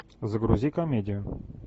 загрузи комедию